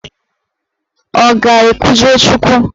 Ọ ga-ekwujọ Chukwu?